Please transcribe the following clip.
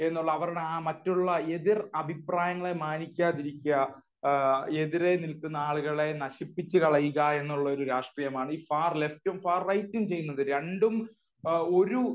എന്നുള്ള അവരുടെ ആ മറ്റുള്ള എതിർ അഭിപ്രായങ്ങളെ മാനിക്കാതിരിക്കുക , എതിരെ നില്ക്കുന്ന ആളുകളെ നശിപ്പിച്ചു കളയുക എന്നുള്ള ഒരു രാഷ്ട്രീയമാണ് ഈ ഫാർ ലെഫ്റ്റ് ഉം ഫാർ റൈറ്റ് ഉം ചെയ്യുന്നത്. രണ്ടും ഒരു